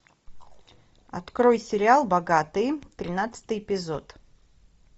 открой сериал богатые тринадцатый эпизод